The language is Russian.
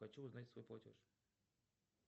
хочу узнать свой платеж